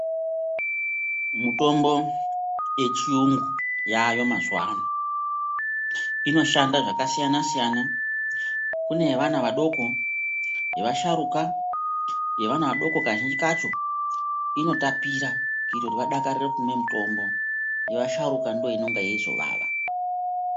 Mitombo yechiyungu yaayo mazuwa ano inoshanda zvakasiyana siyana. Kune yevana vadoko, yevasharuka. Yevana vadoko kazhinji kacho inotapira kuitire kuti vadakarire kumwe mitombo. Yevasharuka ndoinenge yeizovava.